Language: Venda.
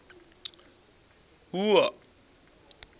wua